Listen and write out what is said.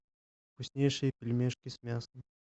вкуснейшие пельмешки с мясом